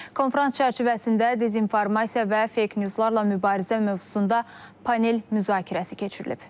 Konfrans çərçivəsində dezinformasiya və fake newslarla mübarizə mövzusunda panel müzakirəsi keçirilib.